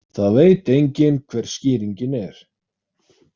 Það veit enginn hver skýringin er.